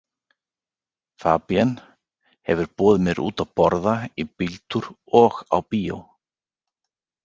Fabienne hefur boðið mér út að borða, í bíltúr og á bíó.